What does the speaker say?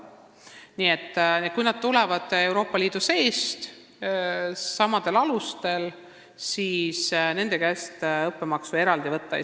Nii et kui nad tulevad Euroopa Liidust samadel alustel, siis ei saa nende käest eraldi õppemaksu võtta.